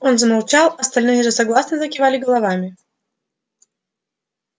он замолчал остальные же согласно закивали головами